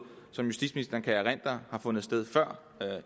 justitsministeren kan erindre har fundet sted før